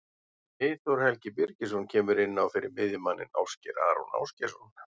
Eyþór Helgi Birgisson kemur inn á fyrir miðjumanninn Ásgeir Aron Ásgeirsson.